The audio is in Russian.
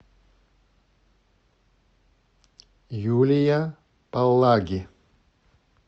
юлия палаги